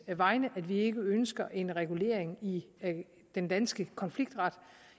vegne at vi ikke ønsker en regulering i den danske konfliktret